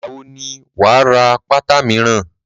Ìgbà wo ni wà á ra pátá míràn?